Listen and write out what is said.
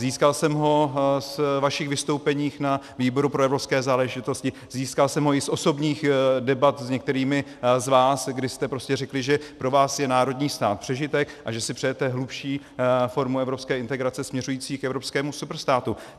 Získal jsem ho z vašich vystoupení na výboru pro evropské záležitosti, získal jsem ho i z osobních debat s některými z vás, kdy jste prostě řekli, že pro vás je národní stát přežitek a že si přejete hlubší formu evropské integrace směřující k evropskému superstátu.